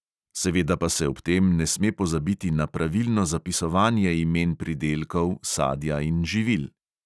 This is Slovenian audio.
Seveda pa se ob tem ne sme pozabiti na pravilno zapisovanje imen pridelkov, sadja in živil.